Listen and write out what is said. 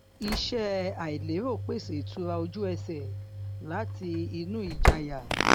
iṣẹ àìlérò pèsè ìtura ojú ẹsẹ láti inú ìjayà